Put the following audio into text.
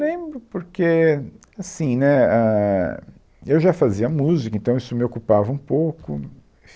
Lembro, porque, assim né, ãh, eu já fazia música, então isso me ocupava um pouco.